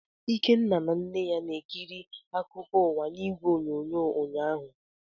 Ikenna na nne ya na-ekiri akụkọ ụwa n'igwe onyonyo ụnyaahụ.